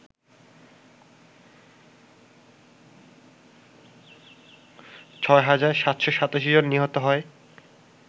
৬ হাজার ৭৮৭ জন নিহত হয়